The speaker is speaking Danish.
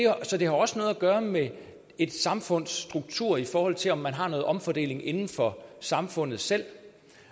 har også noget at gøre med et samfunds struktur i forhold til om man har noget omfordeling inden for samfundet selv